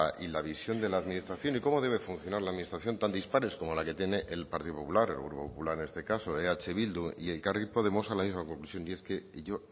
y la visión de la administración y cómo debe funcionar la administración tan dispares como la que tiene el partido popular el grupo popular en este caso eh bildu y elkarrekin podemos a la misma conclusión y es que yo